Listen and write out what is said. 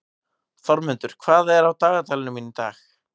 Þormundur, hvað er á dagatalinu mínu í dag?